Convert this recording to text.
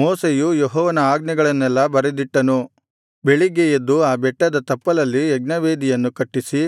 ಮೋಶೆಯು ಯೆಹೋವನ ಆಜ್ಞೆಗಳನ್ನೆಲ್ಲಾ ಬರೆದಿಟ್ಟನು ಬೆಳಿಗ್ಗೆ ಎದ್ದು ಆ ಬೆಟ್ಟದ ತಪ್ಪಲಲ್ಲಿ ಯಜ್ಞವೇದಿಯನ್ನು ಕಟ್ಟಿಸಿ